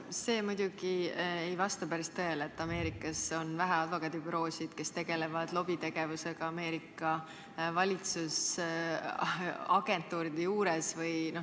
See muidugi ei vasta päris tõele, et Ameerikas on vähe advokaadibüroosid, kes tegelevad lobitegevusega Ameerika valitsusagentuuride juures.